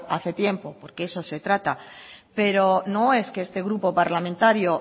hace tiempo porque de eso se trata pero no es que este grupo parlamentario